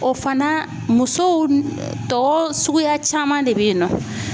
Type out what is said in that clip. O fana musow tɔ suguya caman de bɛ yen nɔ.